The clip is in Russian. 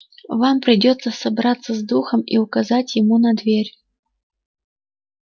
вам придётся собраться с духом и указать ему на дверь